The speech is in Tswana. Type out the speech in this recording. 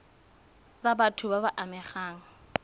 tsa batho ba ba amegang